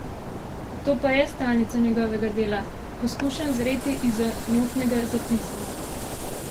To pa je stalnica njegovega dela: "Poskušam zreti izza notnega zapisa".